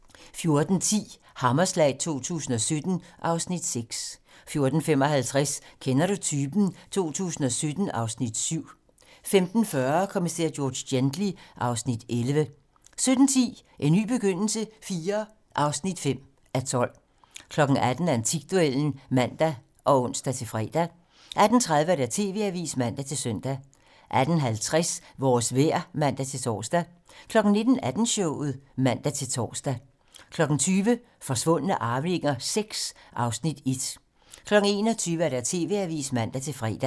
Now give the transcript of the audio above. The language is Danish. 14:10: Hammerslag 2017 (Afs. 6) 14:55: Kender du typen? 2017 (Afs. 7) 15:40: Kommissær George Gently (Afs. 11) 17:10: En ny begyndelse IV (5:12) 18:00: Antikduellen (man og ons-fre) 18:30: TV-Avisen (man-søn) 18:50: Vores vejr (man-tor) 19:00: Aftenshowet (man-tor) 20:00: Forsvundne arvinger VI (Afs. 1) 21:00: TV-Avisen (man-fre)